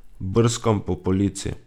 Brskam po polici.